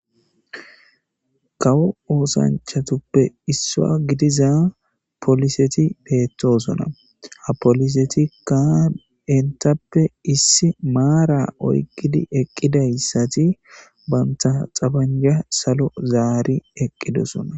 kawo oosanchatuppe issaa gidiza poliseti beettosona ha polisetikka entappe issi maara oykkidi eqqidayssati banta xabanja salo zaari eqqidosona